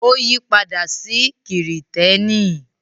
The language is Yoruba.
Ó yí padà sí Kìrìtẹ́ẹ́nì.